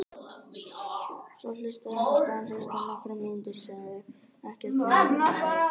Svo hlustaði hann stanslaust í nokkrar mínútur, sagði ekkert nema: Nei!